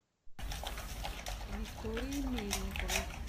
виктории мельниковой